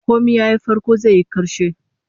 Komai yayi farko zai yi karshe